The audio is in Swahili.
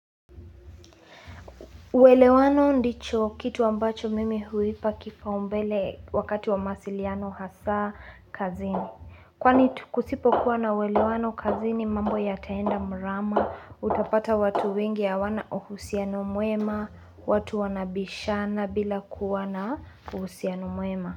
Uelewano ndicho kitu ambacho mimi huipa kipa umbele wakati wa masiliano hasa kazini. Kwani kusipo kuwa na welewano kazini mambo ya taenda mrama, utapata watu wengi hawana uhusiano mwema, watu wanabishana bila kuwana uhusiano muema.